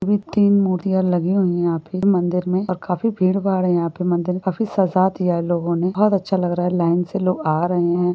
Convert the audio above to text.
तीन मुर्तिया लगे हुई यहाँ पे मंदिर में और काफी भीड़ भाड़ है यहाँ पे मंदीर काफी सजा दिया है लोगों ने बहुत अच्छा लग रहा लाइन से लोग आरहे हैं।